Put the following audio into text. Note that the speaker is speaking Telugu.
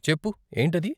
చెప్పు, ఏంటది?